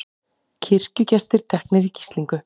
Kirkjugestir teknir í gíslingu